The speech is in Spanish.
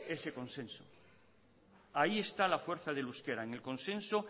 ese consenso ahí está la fuerza del euskera en el consenso